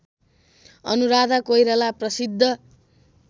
अनुराधा कोइराला प्रसिद्ध